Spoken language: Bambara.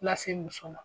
Lase muso ma